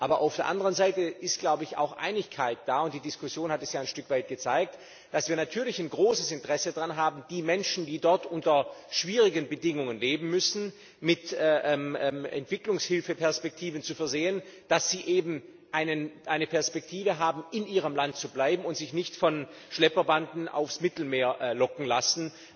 Aber auf der anderen Seite ist, glaube ich, auch Einigkeit da die Diskussion hat das ja ein Stück weit gezeigt dass wir natürlich ein großes Interesse daran haben, die Menschen, die dort unter schwierigen Bedingungen leben müssen, mit Entwicklungshilfeperspektiven zu versehen, damit sie eben eine Perspektive haben, in ihrem Land zu bleiben und sich nicht von Schlepperbanden aufs Mittelmeer locken zu lassen